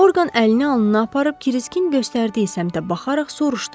Orqan əlini alnına aparıb Kiriskin göstərdiyi səmtə baxaraq soruşdu: